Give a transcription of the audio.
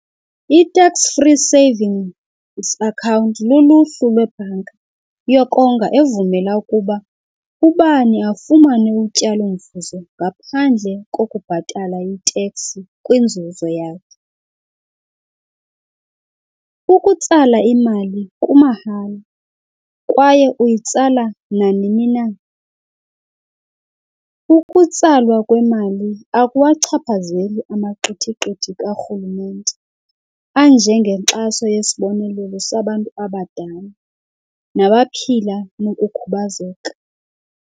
ITax Free Savings akhawunti luluhlu lwebhanka yokonga evumela ukuba ubani afumane utyalomvuzo ngaphandle kokubhatala i-tax kwinzuzo yakhe. Ukutsala imali kumahala kwaye uyitsala nanini na. Ukutsalwa kwemali akuwachaphazeli amaqithiqithi karhulumente anje ngenkxaso yesibonelelo sabantu abadala nabaphila nokukhubazeka.